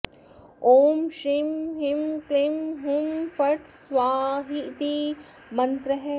ॐ श्रीं ह्रीं क्लीं हुं फट् स्वाहेति मन्त्रः